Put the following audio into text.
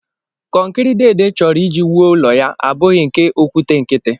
Kọnkịrị deede chọrọ iji wuo ụlọ ya abụghị nke okwute nkịtị